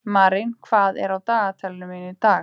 Marín, hvað er á dagatalinu mínu í dag?